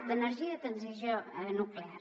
d’energia i de transició nuclear